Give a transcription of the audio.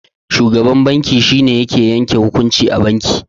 Shugaban banki shine yake yanke hukunci a banki.